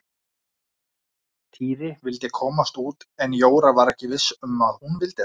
Týri vildi komast út en Jóra var ekki viss um að hún vildi það.